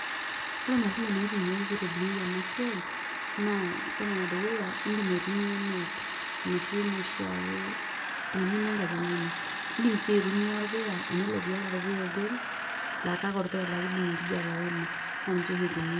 Ore material naitumia pee itobiri ena siai naa ore enedukuya iindim aitumiya net enoshi ake enoshi enkajang'ani iindim sii aitumia orpuya yiolo pee iata orpuya ogol laa kake orpuya laa kiidim enkijiape aima naa ninche oshi itumiai.